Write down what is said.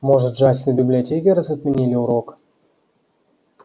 может джастин в библиотеке раз отменили урок